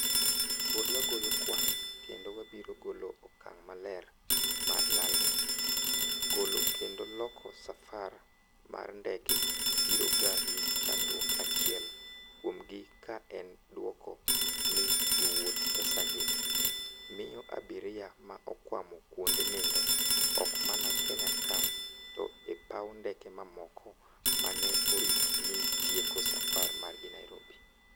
pod wagoyo kuan kendo wabiro golo okang' maler mar lal ni "Golo kendo loko safar mag ndege biro ga gi chandruok achiel kuom gi ka en dwoko ni jowouth pesa gi, miyo abiria ma okwamo kuonde nindo, ok mana Kenya ka to e paw ndeke mamoko ma ne oripo ni tieko safar margi Nairobi.